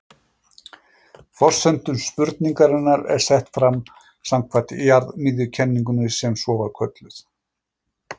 forsenda spurningarinnar er sett fram samkvæmt jarðmiðjukenningunni sem svo er kölluð